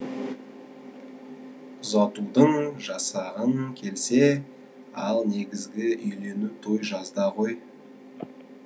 ұзатуды жасағың келсе ал негізі үйлену той жазда ғой